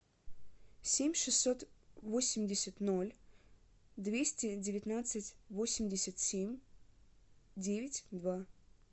семь шестьсот восемьдесят ноль двести девятнадцать восемьдесят семь девять два